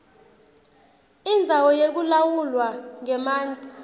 indzawo yekulawulwa kwemanti